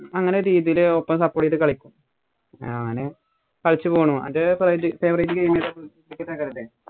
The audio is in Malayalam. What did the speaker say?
അങ്ങനെ രീതിയില് ഒപ്പം support ചെയ്ത് കളിക് ഞാന് കളിച്ചു പോണു. അത് ഇപ്പൊ വലിയ favourite game